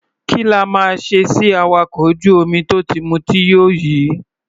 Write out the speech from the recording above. Kí la máa ṣe sí awakọ̀ ojú-omi tó ti mutí yó yìí?